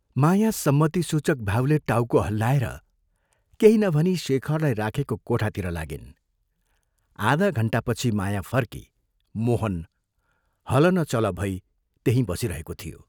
माया सम्मतिसूचक भावले टाउको हल्लाएर केही नभनी शेखरलाई राखेको कोठातिर आधा घण्टापछि माया फर्की मोहन हल न चल भई त्यहीं बसिरहेको थियो।